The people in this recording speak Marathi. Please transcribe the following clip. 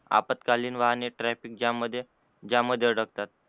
आपात्कालीन वाहने traffic jam मध्ये jam अडकतात.